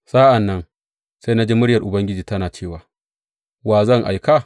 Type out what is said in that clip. Sa’an nan na ji muryar Ubangiji tana cewa, Wa zan aika?